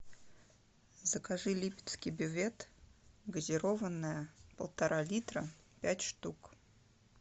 закажи липецкий бювет газированная полтора литра пять штук